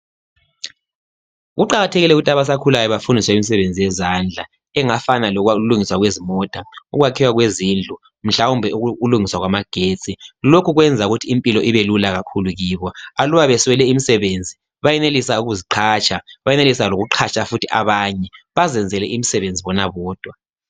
Kuqakathekile ukuthi abasakhulayo bafundiswe imisebenzi yezandla engafana lokulungiswa kwezimota, ukwakheka kwezindlu mhlawumbe ukulungiswa kwamagetsi. Lokho kwenza ukuthi impilo ibelula kakhulu kibo. Aluba beswele imisebenzi bayenelisa ukuziqhatsha bayenelisa lokuqhatsha futhi abanye. Bazenzele imisebenzi bona bodwa.